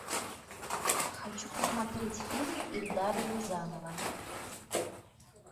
хочу посмотреть фильм эльдара рязанова